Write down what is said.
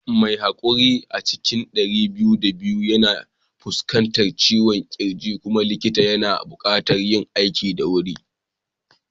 Mai haƙuri a cikin ɗari biyu da biyu yana fuskantar ciwon kirji kuma likita yana buƙatar yin aiki da sauri